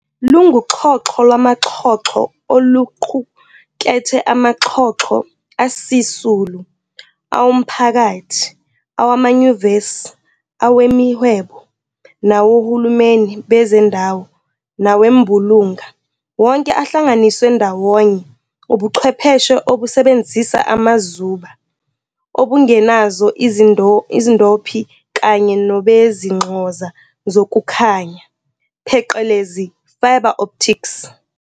"Lunguxhoxho lwamaxhoxho" oluqukethe amaxhoxho asisulu, awomphakathi, awamanyuvesi, awemihwebo, nawohulumeni bezindawo nawembulunga, wonke ahlanganiswe ndawonye ubuchwepheshe obusebenzisa amazuba, obungenazo izindophi kanye nobezinxoza zokukhanya, pheqelezi "fibre optics".